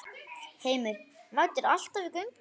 Heimir: Mætirðu alltaf í gönguna?